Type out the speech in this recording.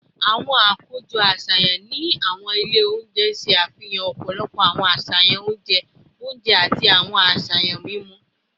Awọn akojọ aṣayan ni awọn ile ounjẹ n ṣe afihan ọpọlọpọ awọn aṣayan ounjẹ ounjẹ ati awọn aṣayan mimu